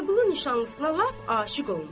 Vəliqulu nişanlısına lap aşiq olmuşdu.